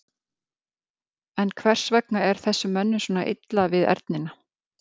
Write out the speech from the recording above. En hvers vegna er þessum mönnum svona illa við ernina?